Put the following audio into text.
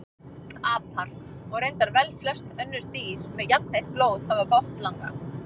Apar og reyndar velflest önnur dýr með jafnheitt blóð hafa botnlanga.